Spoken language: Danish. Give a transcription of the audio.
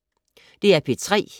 DR P3